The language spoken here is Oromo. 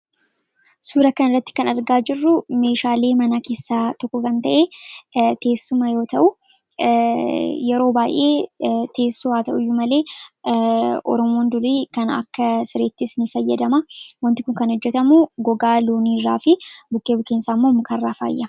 Suura kana irratti kan argaa jirru meeshaalee manaa keessaa tokko kan ta'e teessuma yoo ta'u yeroo baay'ee teessuma haa ta'u iyyuu malee oromoon dur kana akka sireettis ni fayyadama wanti kun kan hojjetamu gogaa looniirraa fi bukkee bukkeensaa immoo mukarraa faayyama